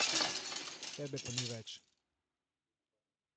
Tebe pa ni več.